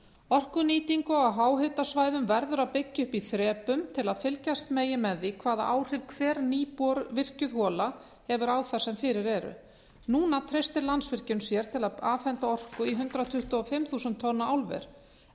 orkunýtingu á háhitasvæðum verður að byggja upp í þrepum til að fylgjast megi með því hvaða áhrif hver nývirkjuð hola hefur á þær sem fyrir eru núna treystir landsvirkjun sér til að afhenda orku í hundrað tuttugu og fimm þúsund tonna álver